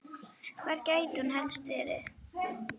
Hvar gæti hún helst verið?